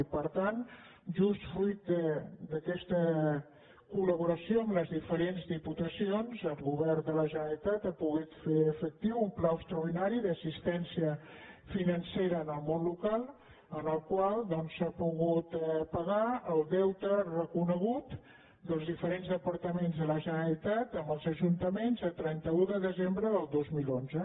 i per tant just fruit d’aquesta colferents diputacions el govern de la generalitat ha po·gut fer efectiu un pla extraordinari d’assistència finan·cera en el món local amb el qual s’ha pogut pagar el deute reconegut dels diferents departaments de la ge·neralitat amb els ajuntaments a trenta un de desembre del dos mil onze